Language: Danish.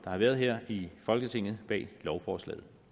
har været her i folketinget bag lovforslaget